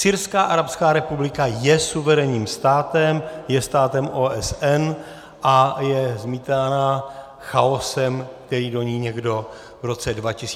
Syrská arabská republika je suverénním státem, je státem OSN a je zmítána chaosem, který do ní někdo v roce 2011 implantoval.